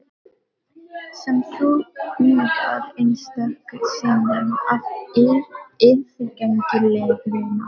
Sem þú úðar einstöku sinnum af yfirgengilegri náð.